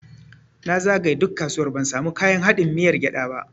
Na zagaye duk kasuwar ban samu kayan haɗin miyar gyada ba.